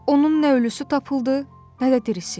Onun nə ölüsü tapıldı, nə də dirisi.